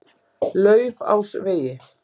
Laufásvegi